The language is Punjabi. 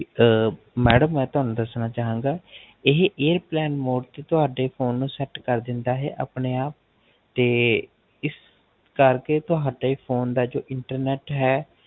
ਅਹ Madam ਮੈਂ ਤੁਹਾਨੂੰ ਦਸਣਾ ਚਾਹਵਾਂਗਾ ਇਹ Airplane Mode ਤੇ ਤੁਹਾਡੇ Phone ਨੂੰ Set ਕਰ ਦੇਂਦਾ ਹੈ ਆਪਣੇ ਆਪ ਇਸ ਕਰ ਕੇ ਤੁਹਾਡੇ Phone ਦਾ ਜੋ Internet ਹੈ